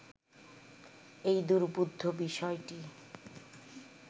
এই দুর্বোধ্য বিষয়টি